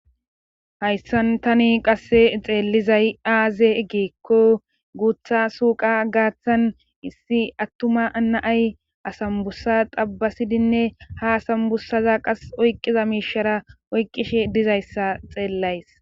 Hayssan tani qasse xeellizay aaze egeekko guutha suuqa gaaththan issi attuma anaay asambusa xabbasidinne ha asambussaza qas oyqqiza miishara oyqishe dizayssa xeellays.